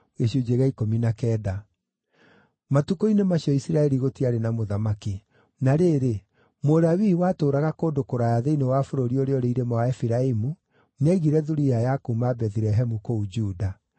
Matukũ-inĩ macio Isiraeli gũtiarĩ na mũthamaki. Na rĩrĩ, Mũlawii watũũraga kũndũ kũraya thĩinĩ wa bũrũri ũrĩa ũrĩ irĩma wa Efiraimu nĩaigire thuriya ya kuuma Bethilehemu kũu Juda.